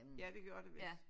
Ja det gjorde det vist